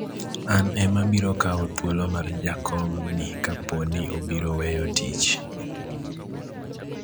an ema abiro kawo thuolo mar jakom ni kapo ni obiro weyo tich